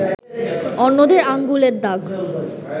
অন্যদের আঙুলের দাগ